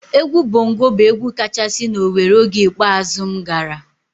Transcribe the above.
Egwu Bongo bụ egwu kachasị na Owere oge ikpeazụ m gara.